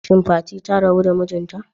Shin Fati ta rabu da mijinta?